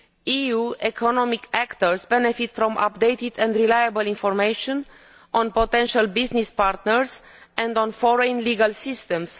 EU economic actors will benefit from updated and reliable information on potential business partners and on foreign legal systems.